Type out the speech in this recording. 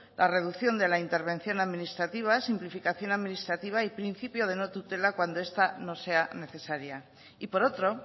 la reducción de la intervención administrativa simplificación administrativa y principio de no tutela cuando esta no sea necesaria y por otro